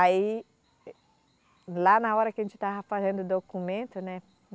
Aí, lá na hora que a gente estava fazendo o documento, né?